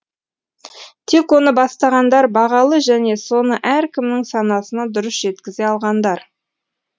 тек оны бастағандар бағалы және соны әркімнің санасына дұрыс жеткізе алғандар